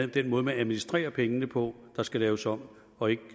den måde man administrerer pengene på der skal laves om og ikke